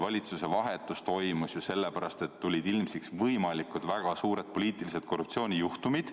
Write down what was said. Valitsuse vahetus toimus sellepärast, et tulid ilmsiks väga suured võimalikud poliitilise korruptsiooni juhtumid.